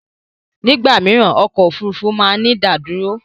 Ní ìgbà mìíràn ọkọ̀ Òfurufú máa ń ní ìdádúró.